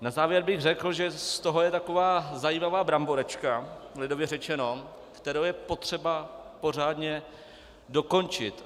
Na závěr bych řekl, že z toho je taková zajímavá bramboračka, lidově řečeno, kterou je potřeba pořádně dokončit.